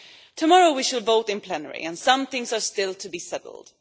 Tomorrow we will vote in plenary, and some things are still to be settled.